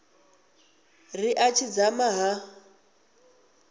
ri a tshi dzama ha